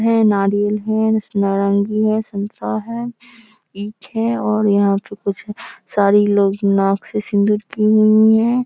है नारियल है नारंगी है संतरा है ईख है और यहां पे कुछ सारी लेडिज नाक से सिंदूर की हुई है।